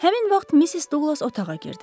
Həmin vaxt Missis Duqlas otağa girdi.